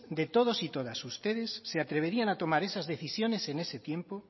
de todos y todas de ustedes se atreverían a tomar esas decisiones en ese tiempo